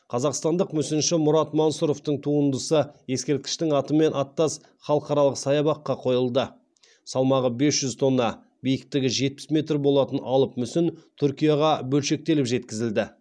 қазақстандық мүсінші мұрат мансұровтың туындысы ескерткіштің атымен аттас халықаралық саябаққа қойылды салмағы бес жүз тонна биіктігі жетпіс метр болатын алып мүсін түркияға бөлшектеліп жеткізілді